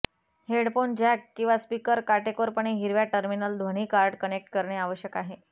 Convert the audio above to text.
headphone jack किंवा speaker काटेकोरपणे हिरव्या टर्मिनल ध्वनी कार्ड कनेक्ट करणे आवश्यक आहे